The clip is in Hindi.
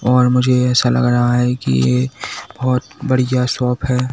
और मुझे ऐसा लग रहा है कि ये बहुत बढ़िया शॉप है।